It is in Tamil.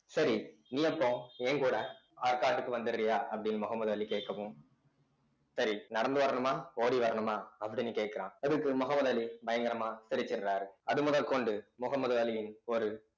சரி நீ அப்போ என் கூட ஆற்காட்டுக்கு வந்தர்றயா அப்படின்னு முகமது அலி கேட்கவும் சரி நடந்து வரணுமா ஓடி வரணுமா அப்படின்னு கேட்கிறான் அதுக்கு முகமது அலி பயங்கரமா சிரிகின்றாரு அது முதற்கொண்டு முகமது அலியின் ஒரு